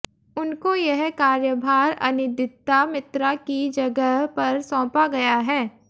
उनको यह कार्यभार अनिदित्ता मित्रा की जगह पर सौंपा गया है